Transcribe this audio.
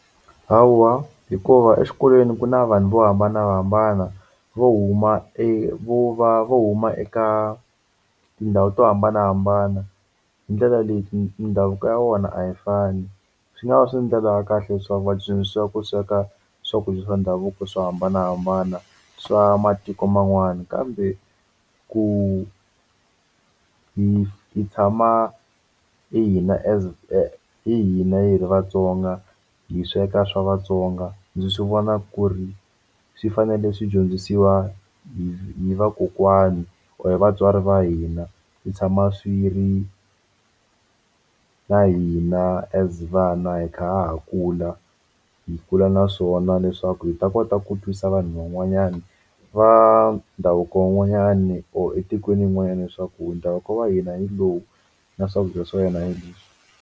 Hawa hikuva exikolweni ku na vanhu vo hambanahambana vo huma vo va vo huma eka tindhawu to hambanahambana hi ndlela leyi mindhavuko ya vona a yi fani swi nga va swi ndlela ya kahle swaku va dyondzisiwa ku sweka swakudya swa ndhavuko swo hambanahambana swa matiko man'wana kambe ku hi hi tshama hi hina as hi hina hi ri vatsonga hi sweka swa Vatsonga ndzi swi vona ku ri swi fanele swi dyondzisiwa hi vakokwani or vatswari va hina hi tshama swi ri na hina as vana hi kha ha kula hi kula na swona leswaku hi ta kota ku twisa vanhu van'wanyani va ndhavuko van'wanyani or etikweni rin'wanyana leswaku ndhavuko wa hina hi lowu na swakudya swa hina hi leswi.